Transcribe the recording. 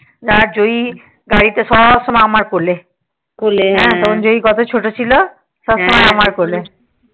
ওই জয়ী গাড়িতে সব সময় আমার কোলে কোলে তখন জয়ী কত ছোট ছিল সব সময় আমার কোলে